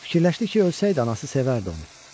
Fikirləşdi ki, ölsəydi anası sevərdi onu.